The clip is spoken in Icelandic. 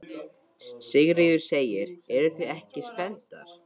Sigríður: Eruð þið ekki spenntar?